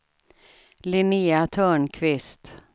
Linnéa Törnqvist